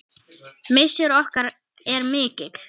Missir okkar er mikill.